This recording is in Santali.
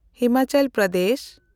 ᱦᱤᱢᱟᱪᱚᱞ ᱯᱨᱚᱫᱮᱥ